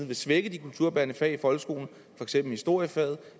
vil svække de kulturbærende fag i folkeskolen for eksempel historiefaget